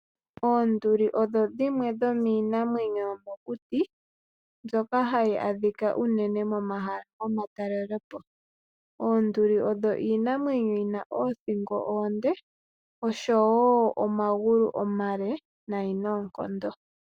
Oonduli odho dhimwe dhomiinamwenyo yomokuti mbyoka hayi adhika unene momahala gomatalelepo. Oonduli odho iinamwenyo yina oothingo oonde oshowo omagulu omale nayi noonkondo.